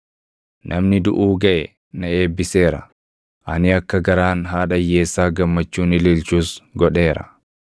Namni duʼuu gaʼe na eebbiseera; ani akka garaan haadha hiyyeessaa gammachuun ililchus godheera.